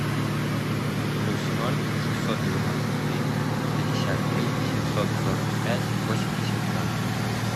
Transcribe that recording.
плюс ноль шестьсот девяносто три пятьдесят три семьсот сорок пять восемьдесят ноль